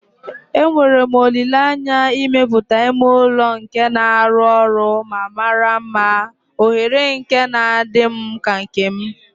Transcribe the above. Enwere m olile anya imepụta ime ụlọ nke na-arụ ọrụ ma mara mma, oghere nke na-adị m ka nke m.